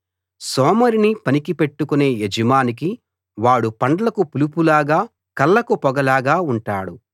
సోమరిని పనికి పెట్టుకునే యజమానికి వాడు పండ్లకు పులుపులాగా కళ్ళకు పొగలాగా ఉంటాడు